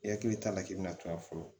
I hakili t'a la k'i bɛna to a fɔlɔ